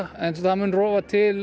en það mun rofa til